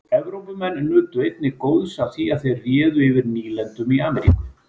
Evrópumenn nutu einnig góðs af því að þeir réðu yfir nýlendum í Ameríku.